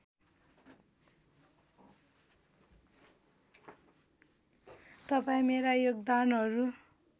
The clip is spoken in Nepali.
तपाईँ मेरा योगदानहरू